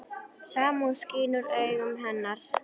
Samúð skín úr augum hennar.